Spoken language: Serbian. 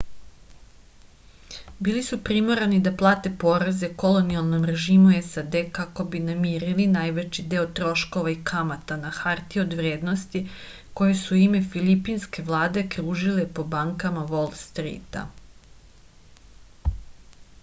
bili su primorani da plate poreze kolonijalnom režimu sad kako bi namirili najveći deo troškova i kamata na hartije od vrednosti koje su u ime filipinske vlade kružile po bankama vol strita